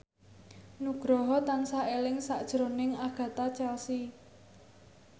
Nugroho tansah eling sakjroning Agatha Chelsea